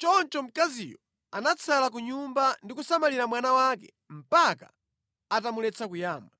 Choncho mkaziyo anatsala ku nyumba ndi kusamalira mwana wake mpaka atamuletsa kuyamwa.